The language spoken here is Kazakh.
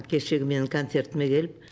кешегі менің концертіме келіп